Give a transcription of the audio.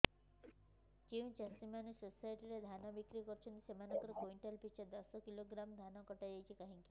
ଯେଉଁ ଚାଷୀ ମାନେ ସୋସାଇଟି ରେ ଧାନ ବିକ୍ରି କରୁଛନ୍ତି ସେମାନଙ୍କର କୁଇଣ୍ଟାଲ ପିଛା ଦଶ କିଲୋଗ୍ରାମ ଧାନ କଟା ଯାଉଛି କାହିଁକି